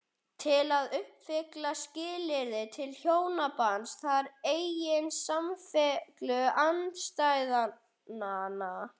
Til að uppfylla skilyrði til hjónabands þarf einnig samfellu andstæðnanna.